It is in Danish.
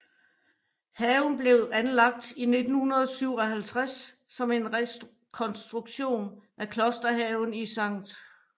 Haven blev anlagt i 1957 som en rekonstruktion af klosterhaven i St